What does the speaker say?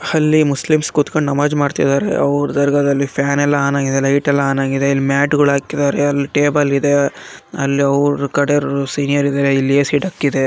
ಅಲ್ಲಿ ಮುಸ್ಲಿಮ್ಸ್ ಕುತ್ಕೊಂಡು ನಮಾಜ್ ಮಾಡ್ತಿದ್ದಾರೆ ಅವರ ದರ್ಗಾದಲ್ಲಿ ಫ್ಯಾನ್ ಎಲ್ಲ ಆನ್ ಆಗಿದೆ ಲೈಟೆ ಲ್ಲ ಆನ್‌ ಅಗಿದೆ ಇಲ್ಲಿ ಮ್ಯಾಟ ಗಳು ಹಾಕಿದ್ದಾರೆ ಅಲ್ಲಿ ಟೆಬಲ್‌ ಇದೆ ಅಲ್ಲಿ ಅವ್ರ ಕಡೆರು ಸಿನಿಯರಿ ದೆ .